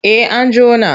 En an jona.